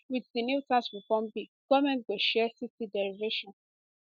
wit di new tax reform bill goment go share 60 derivation